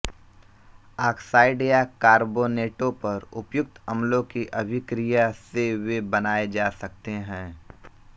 oxide या कार्बोनेटों पर उपयुक्त अम्लों की अभिक्रिया से वे बनाए जा सकते हैं